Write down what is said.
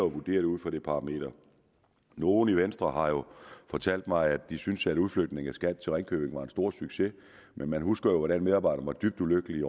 vurdere det ud fra det parameter nogle i venstre har jo fortalt mig at de synes at udflytningen af skat til ringkøbing var en stor succes men man husker jo hvordan medarbejderne var dybt ulykkelige